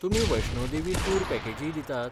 तुमी वैष्णो देवी टूर पॅकेजीय दितात?